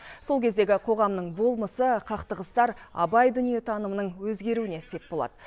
сол кездегі қоғамның болмысы қақтығыстар абай дүниетанымының өзгеруіне сеп болады